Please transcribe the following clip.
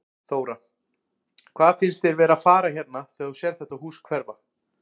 Þóra: Hvað finnst þér vera að fara hérna þegar þú sérð þetta hús hverfa?